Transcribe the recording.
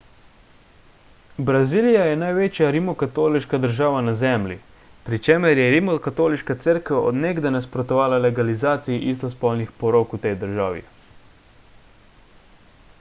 brazilija je največja rimokatoliška država na zemlji pri čemer je rimokatoliška cerkev od nekdaj nasprotovala legalizaciji istospolnih porok v tej državi